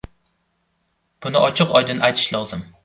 Buni ochiq-oydin aytish lozim.